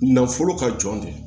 Nafolo ka jɔn de